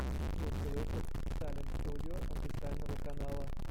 лучший выпуск салем студио официального канала